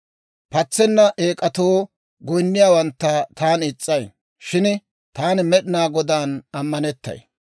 Patsenna eek'atoo goyinniyaawantta taani is's'ay; shin taani Med'inaa Godaan ammanettay.